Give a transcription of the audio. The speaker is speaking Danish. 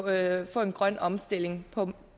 at få en grøn omstilling på